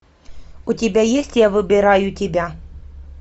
у тебя есть я выбираю тебя